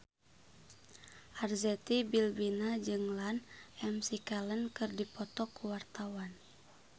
Arzetti Bilbina jeung Ian McKellen keur dipoto ku wartawan